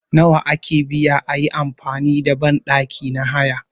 Nawa ake biya ayi amfani da banɗaki na haya